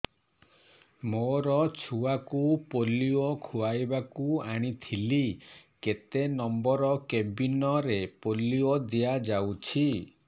ମୋର ଛୁଆକୁ ପୋଲିଓ ଖୁଆଇବାକୁ ଆଣିଥିଲି କେତେ ନମ୍ବର କେବିନ ରେ ପୋଲିଓ ଦିଆଯାଉଛି